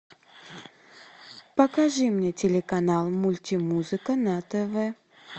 покажи мне телеканал мультимузыка на тв